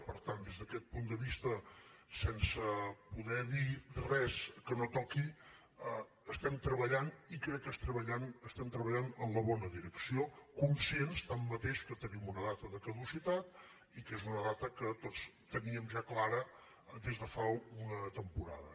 per tant des d’aquest punt de vista sense poder dir res que no toqui hi estem treballant i crec que treballem en la bona direcció conscients tanmateix que tenim una data de caducitat i que és una data que tots teníem ja clara des de fa una temporada